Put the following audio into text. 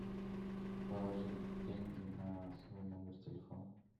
положить деньги на свой номер телефона